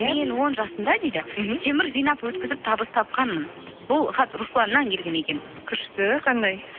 мен он жасымда дейді мхм темір жинап өткізіп табыс тапқанмын бұл хат русланнан келген екен күшті қандай